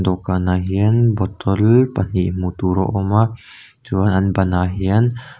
dawhkanah hian bottle pahnih hmuh tur a awm a chuan an banah hian--